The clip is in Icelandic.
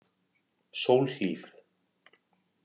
Sólhlíð